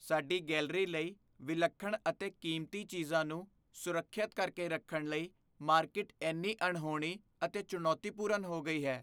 ਸਾਡੀ ਗੈਲਰੀ ਲਈ ਵਿਲੱਖਣ ਅਤੇ ਕੀਮਤੀ ਚੀਜ਼ਾਂ ਨੂੰ ਸੁਰੱਖਿਅਤ ਕਰਕੇ ਰੱਖਣ ਲਈ ਮਾਰਕੀਟ ਇੰਨੀ ਅਣਹੋਣੀ ਅਤੇ ਚੁਣੌਤੀਪੂਰਨ ਹੋ ਗਈ ਹੈ।